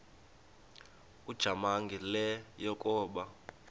ujamangi le yakoba